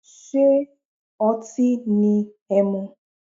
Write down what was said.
Ṣé otín ni ẹmu.